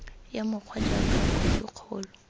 ya mokgwa jaaka khophi kgolo